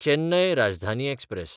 Chennai Rajdhani express